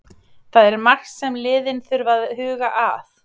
Það er margt sem liðin þurfa að huga að.